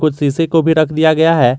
और शीशे को भी रख दिया गया है।